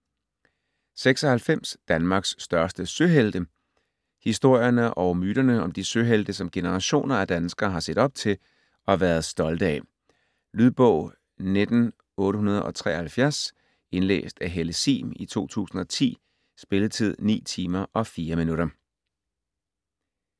96 Danmarks største søhelte Historierne og myterne om de søhelte, som generationer af danskere har set op til og været stolte af. Lydbog 19873 Indlæst af Helle Sihm, 2010. Spilletid: 9 timer, 4 minutter.